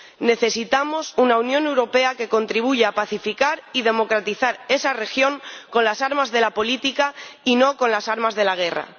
Necesitamos una Unión Europea que contribuya a pacificar y democratizar esa región con las armas de la política y no con las armas de la guerra.